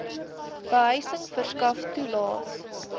behuising verskaf toelaes